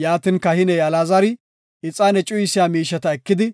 Yaatin kahiney Alaazari ixaane cuyisiya miisheta ekidi